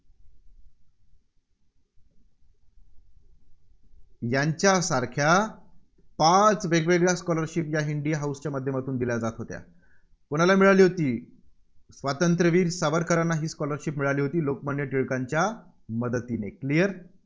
यांच्यासारख्या पाच वेगवेगळ्या scholarship या इंडिया हाऊसच्या माध्यमातून दिल्या जात होत्या. कोणाला मिळाली होती? स्वातंत्र्यवीर सावरकरांना ही scholarship मिळाली होती. लोकमान्य टिळकांच्या मदतीने clear